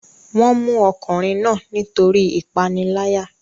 wọ́n mú ọkùnrin náà nítorí ìpániláyà